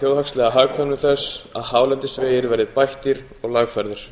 þjóðhagslega hagkvæmni þess að hálendisvegir landsins verði bættir og lagfærðir